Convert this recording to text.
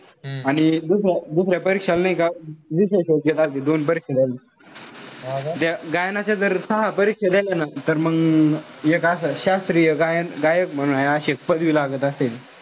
आणि दुसरं परीक्षाल नाई का विशेष योग्यता दोन परीक्षा द्याल लागते. त्या गायनाच्या जर सहा परीक्षा दिल्या ना तर मंग एक असं शास्त्रीय गायन गायक म्हणून हाये अशे पदवी लागत असेल.